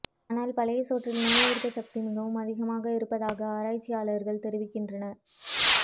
ஆனால் பழைய சோற்றில் நோய் எதிர்ப்பு சக்தி மிகவும் அதிகமாக இருப்பதாக ஆராய்ச்சியாளர்கள் தெரிவிக்கின்றனர்